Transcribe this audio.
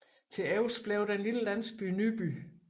Til overs blev den lille landsby Nyby